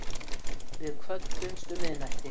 Við kvöddumst um miðnætti.